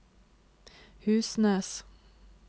Husnes